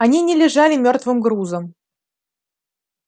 они не лежали мёртвым грузом